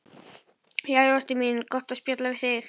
Jæja, ástin mín, gott að spjalla við þig.